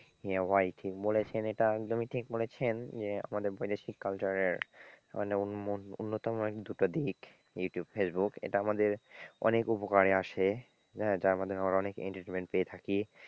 হ্যাঁ ভাই ঠিক বলেছেন এটা একদমই ঠিক বলেছেন যে আমাদের বৈদেশিক culture এর মানে অন্যতম দুটো দিক ইউটিউব, ফেসবুক এটা আমাদের অনেক উপকারে আসে, তার মধ্যে আমরা অনেক entertainment পেয়ে থাকি,